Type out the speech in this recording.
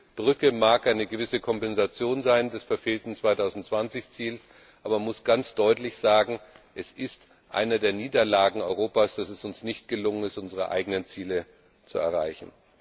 Also diese Brücke mag eine gewisse Kompensation für das verfehlte 2020 Ziel sein, aber man muss ganz deutlich sagen, es ist eine der Niederlagen Europas, dass es uns nicht gelungen ist, unsere eigenen Ziele zu erreichen.